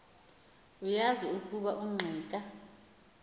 uyazi ukuba ungqika